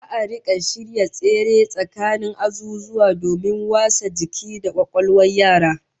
Za'a rika shirya tsere tsakanin azuzuwa domin wasa jiki da kwakwalwar yara